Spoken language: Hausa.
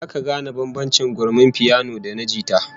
Zaka gane bambancin gurmin piyano da na jita?